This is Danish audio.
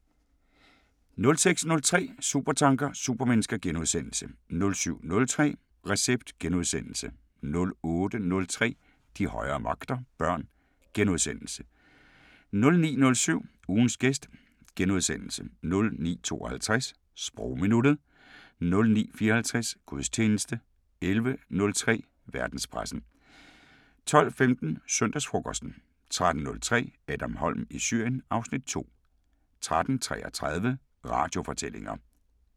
06:03: Supertanker: Supermennesker * 07:03: Recept * 08:03: De højere magter: Børn * 09:07: Ugens gæst * 09:52: Sprogminuttet 09:54: Gudstjeneste 11:03: Verdenspressen 12:15: Søndagsfrokosten 13:03: Adam Holm i Syrien (Afs. 2) 13:33: Radiofortællinger